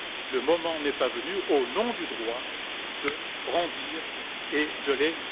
Le moment n'est il pas venu, au nom du droit, de les brandir et de les